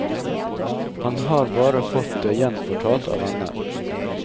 Han har bare fått det gjenfortalt av venner.